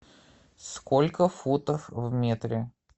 сколько футов в метре